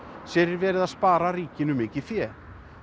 sé verið að spara ríkinu mikið fé